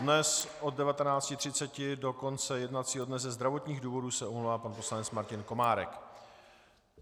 Dnes od 19.30 do konce jednacího dne ze zdravotních důvodů se omlouvá pan poslanec Martin Komárek.